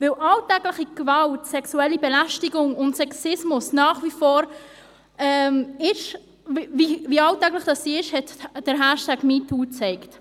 Wie alltäglich Gewalt, sexuelle Belästigung und Sexismus nach wie vor sind, hat der Hashtag «MeToo» gezeigt.